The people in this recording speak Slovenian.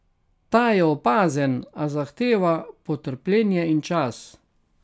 Ta je opazen, a zahteva potrpljenje in čas.